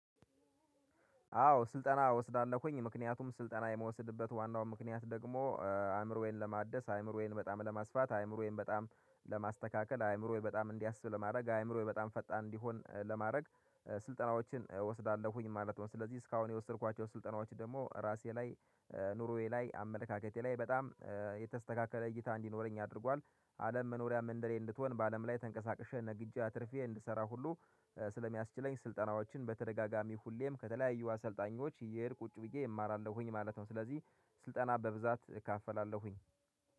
አዎ ስልጠና እወስዳለሁኝ ምክንያቱም ስልጠና የምወስድበት ዋናው ምክንያት ደግሞ አእምሮዬን ለማደስ አእምሮዬን በጣም ለማስፋት አእምሮዬን በጣም ለማስተካከል አእምሮዬ በጣም እንዲያስብ ለማድረግ አእምሮዬ በጣም ፈጣን እንዲሆን ለማድረግ ስልጠናዎችን እወስዳለሁኝ ማለት ነው። ስለዚህ እስካሁን የወሰድኳቸው ስልጠናዎች ደግሞ ራሴ ላይ ኑሮዬ ላይ አመለካከቴ ላይ በጣም የተስተካከለ እይታ እንዲኖረኝ አድርጓል። አለም መኖሪያ ምንድነው? እንድትሆን በአለም ላይ ተንቀሳቅሼ ንግጃ ትርፌ እንድሰራ ሁሉ ስለሚያስችለኝ ስልጠናዎችን በተደጋጋሚ ሁሌም ከተለያዩ አሰልጣኞች እየሄድ ቁጭ ብዬ እማራለሁኝ ማለት ነው። ስለዚህ ስልጠና በብዛት እካፈላለሁኝ